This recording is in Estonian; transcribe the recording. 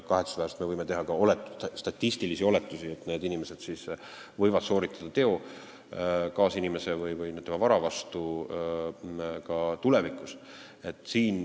Kahetsusväärselt võime teha statistilisi oletusi, et need inimesed võivad sooritada teo kaasinimese või tema vara vastu ka tulevikus.